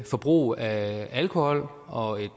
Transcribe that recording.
forbrug af alkohol og